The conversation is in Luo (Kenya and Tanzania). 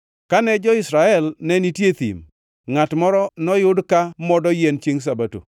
Kane jo-Israel ne nitie e thim, ngʼat moro noyud ka modo yien chiengʼ Sabato.